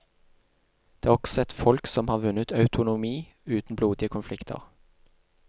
De er også et folk som har vunnet autonomi uten blodige konflikter.